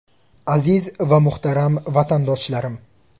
Aziz va muhtaram vatandoshlarim!